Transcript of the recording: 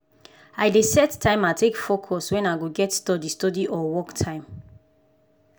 i dey set timer take focus wen i get study study or work time.